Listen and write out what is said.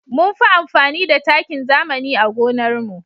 Munfi amfani da takin zamani a gonar mu